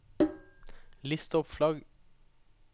list opp flagg